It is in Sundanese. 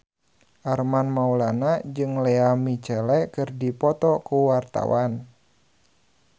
Armand Maulana jeung Lea Michele keur dipoto ku wartawan